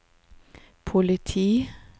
politi